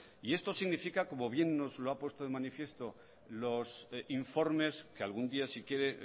y esto significa como bien nos lo ha puesto en manifiesto los informes que algún día si quiere